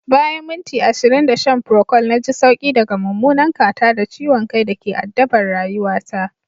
Bayan minti ashirin da shan procold na ji sauki daga mummunan catarrh da ciwon kai da ke addabar rayuwata